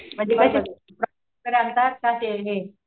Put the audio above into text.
आणतात का ते हे